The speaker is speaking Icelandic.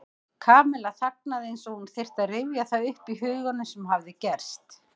Kamilla þagnaði eins og hún þyrfti að rifja það upp í huganum sem hafði gerst.